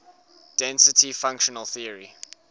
density functional theory